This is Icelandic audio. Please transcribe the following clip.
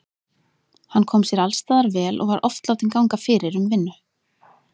Hann kom sér alls staðar vel og var oft látinn ganga fyrir um vinnu.